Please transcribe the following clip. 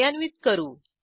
कार्यान्वित करू